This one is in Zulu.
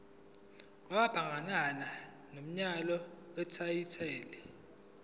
kubandakanya nenombolo yetayitela